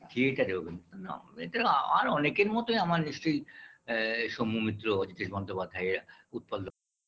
Theatre -এ অভি না এতে আমার অনেকের মতোই আমার নিশ্চয় আ এ সৌম্য মিত্র, অজিতেশ বন্দোপাধ্যায় এরা উৎপল দত্ত